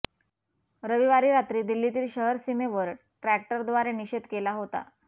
रविवारी रात्री दिल्लीतील शहर सीमेवर ट्रॅक्टरद्वारे निषेध केला होता